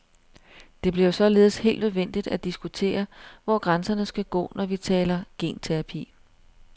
Det bliver således helt nødvendigt at diskutere, hvor grænserne skal gå, når vi taler genterapi.